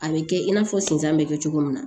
A bɛ kɛ i n'a fɔ sisan bɛ kɛ cogo min na